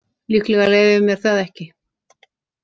Líklega leyfi ég mér það ekki.